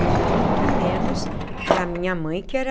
E muito menos para a minha mãe que era